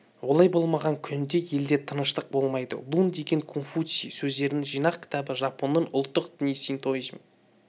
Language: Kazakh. олай болмаған күнде елде тыныштық болмайды лун деген конфуций сөздерінің жинақ кітабы жапонның ұлттық діні синтоизм